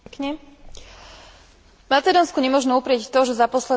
Macedónsku nemožno uprieť to, že za posledný rok urobilo výrazný pokrok.